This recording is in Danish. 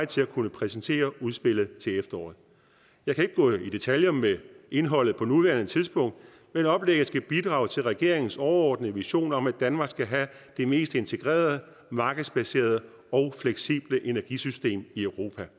til at kunne præsentere udspillet til efteråret jeg kan ikke gå i detaljer med indholdet på nuværende tidspunkt men oplægget skal bidrage til regeringens overordnede vision om at danmark skal have det mest integrerede markedsbaserede og fleksible energisystem i europa